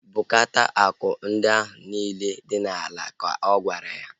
Bukota akụ ndị ahu niile dị n'ala! Ka ọ gwara ya